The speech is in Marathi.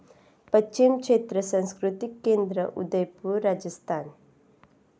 पश्चिम क्षेत्र सांस्कृतिक केंद्र, उदयपूर, राजस्थान